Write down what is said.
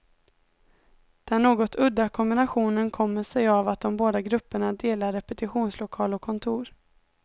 Den något udda kombinationen kommer sig av att de båda grupperna delar repetitionslokal och kontor.